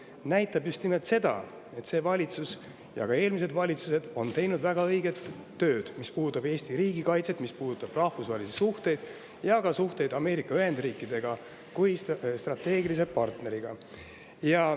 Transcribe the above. See näitab just nimelt seda, et see valitsus ja ka eelmised valitsused on teinud väga õiget tööd, mis puudutab Eesti riigikaitset, mis puudutab rahvusvahelisi suhteid ja ka suhteid Ameerika Ühendriikidega kui strateegilise partneriga.